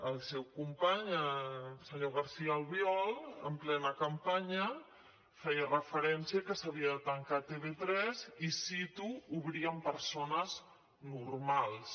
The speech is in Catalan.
el seu company el senyor garcía albiol en plena campanya feia referència que s’havia de tancar tv3 i cito obrir amb persones normals